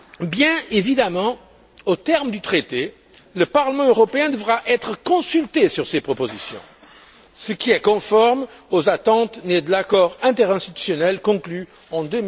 Bien évidemment, aux termes du traité, le Parlement européen devra être consulté sur ces propositions, ce qui est conforme aux attentes nées de l'accord interinstitutionnel conclu en